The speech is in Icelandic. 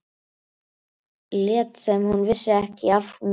Lét sem hún vissi ekki af mér.